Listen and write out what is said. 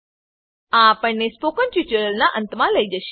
આ આપણને spoken tutorial ના અંતમા લઇ જશે